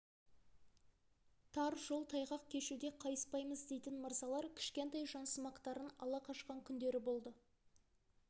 тар жол тайғақ кешуде қайыспаймыз дейтін мырзалар кішкентай жансымақтарын ала қашқан күндері болды